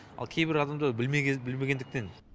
ал кейбір адамдар білмегендіктен